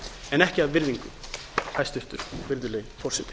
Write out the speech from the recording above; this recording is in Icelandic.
en ekki af virðingu hæstvirtur virðulegi forseti